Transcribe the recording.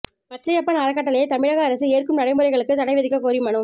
பச்சையப்பன் அறக்கட்டளையை தமிழக அரசு ஏற்கும் நடைமுறைகளுக்கு தடை விதிக்கக் கோரி மனு